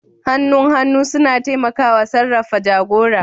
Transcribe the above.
Hannun hannu suna taimakawa sarrafa jagora.